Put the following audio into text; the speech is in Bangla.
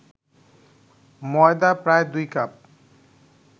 ময়দা প্রায় ২ কাপ